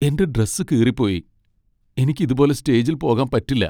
എന്റെ ഡ്രസ്സ്‌ കീറിപ്പോയി. എനിക്ക് ഇതുപോലെ സ്റ്റേജിൽ പോകാൻ പറ്റില്ല .